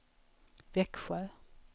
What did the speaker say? Växjö